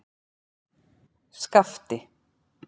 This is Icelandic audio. Skapti